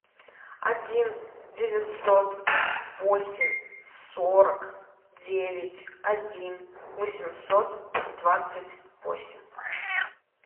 один девятьсот восемь сорок девять один восемьсот двадцать восемь